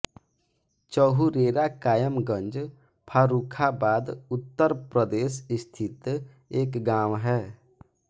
चहुरेरा कायमगंज फर्रुखाबाद उत्तर प्रदेश स्थित एक गाँव है